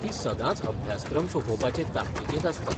ती सदांच अभ्यासक्रम सोंपोवपाचे ताकतीकेंत आसता.